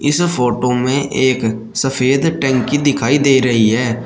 इस फोटो में एक सफेद टंकी दिखाई दे रही है।